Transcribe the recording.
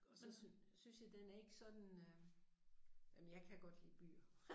Men sådan synes jeg den er ikke sådan øh jamen jeg kan godt lide byer